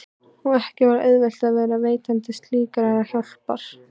Og ekki var auðvelt að vera veitandi slíkrar hjálpar.